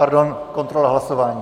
Pardon, kontrola hlasování.